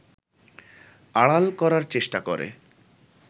আড়াল করার চেষ্টা করে